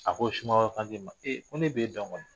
A ko sumaworo Kante ma, ko ne b'e dɔn kɔni